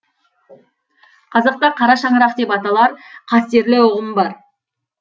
қазақта қара шаңырақ деп аталар қастерлі ұғым бар